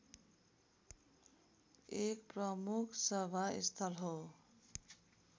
एक प्रमुख सभास्थल हो